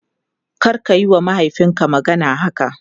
Karka yiwa mahaifinka magana haka!